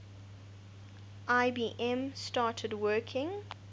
ibm started working